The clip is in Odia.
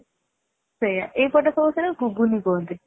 ସେଇଆ ଏଇ ପଟେ ସମସ୍ତେ ନା ଗୁଗୁନି କୁହନ୍ତି